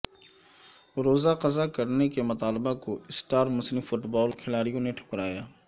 روزہ قضا کرنے کے مطالبہ کو اسٹار مسلم فٹ بال کھلاڑیوں نے ٹھکرایا